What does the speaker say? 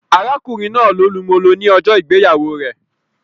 Arákùnrin náà lo lu molo ni ọjọ ìgbéyàwó rẹ